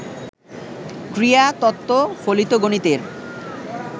ক্রীড়া তত্ত্ব ফলিত গণিতের